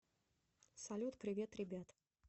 салют привет ребят